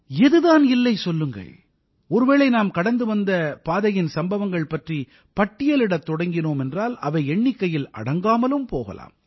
எது தான் இல்லை சொல்லுங்கள் ஒருவேளை நாம் கடந்து வந்த பாதையின் சம்பவங்கள் பற்றி பட்டியலிடத் தொடங்கினோம் என்றால் அவை எண்ணிக்கையில் அடங்காமலும் போகலாம்